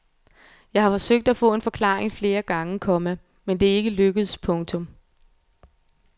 Jeg har forsøgt at få en forklaring flere gange, komma men det er ikke lykkedes. punktum